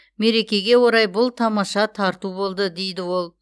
мерекеге орай бұл тамаша тарту болды дейді ол